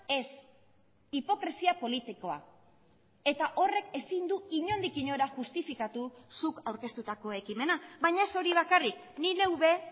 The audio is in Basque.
ez hipokresia politikoa eta horrek ezin du inondik inora justifikatu zuk aurkeztutako ekimena baina ez hori bakarrik ni neu be